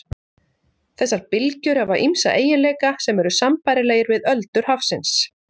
Þessar bylgjur hafa ýmsa eiginleika sem eru sambærilegir við öldur hafsins.